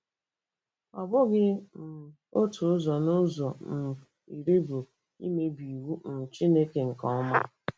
Ọ bụghị um otu ụzọ n'ụzọ um iri bụ imebi iwu um Chineke nke ọma.